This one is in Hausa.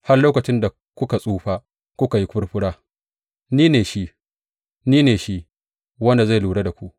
Har lokacin da kuka tsufa kuka yi furfura ni ne shi, ni ne shi wanda zai lura da ku.